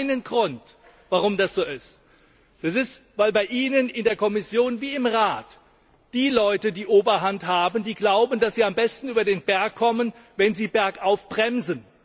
Es gibt einen Grund, warum das so ist, nämlich weil bei Ihnen, in der Kommission wie im Rat, die Leute die Oberhand haben, die glauben, dass sie am besten über den Berg kommen, wenn sie bergauf bremsen.